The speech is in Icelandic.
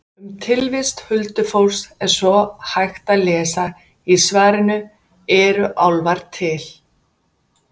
Um tilvist huldufólks er svo hægt að lesa í svarinu Eru álfar til?